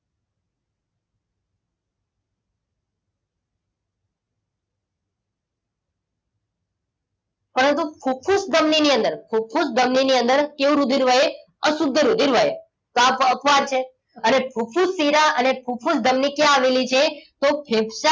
પરંતુ ફૂફૂસ ધમની ની અંદર ફુફુસ ધમની ની અંદર કેવું રુધિર વહે અશુદ્ધ રુધિર વહે આ અપવાદ છે અને ફુફુસ શિરા અને ફુફૂસ ધમની ક્યાં આવેલી છે તો ફેફસા